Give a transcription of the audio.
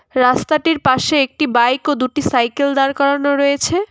রাস্তাটির পাশে একটি বাইক ও দুটি সাইকেল দাঁড় করানো রয়েছে।